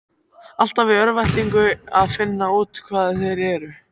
Alltaf í örvæntingu að finna út hvað þeir eru.